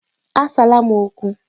Asala m okwu!